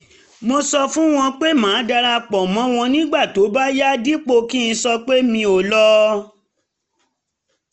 mo sọ fún wọn pé màá dara pọ̀ mọ́ wọn nígbà tó bá yá dípò kí n sọpé mi ò lọ